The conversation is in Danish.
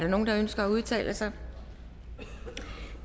nogen der ønsker at udtale sig